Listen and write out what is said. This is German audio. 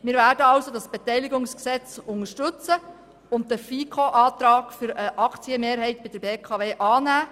Wir werden also das Beteiligungsgesetz unterstützen und den Antrag der FiKo zu einer Aktienmehrheit bei der BKW annehmen.